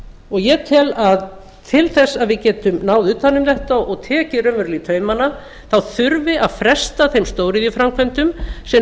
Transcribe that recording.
og ég tel að til þess að við getum náð utan um þetta og tekið raunverulega í taumana þurfi að fresta þeim stóriðjuframkvæmdum sem